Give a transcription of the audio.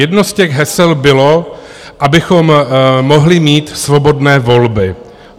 Jedno z těch hesel bylo, abychom mohli mít svobodné volby.